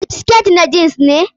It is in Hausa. Siket na jeans ne?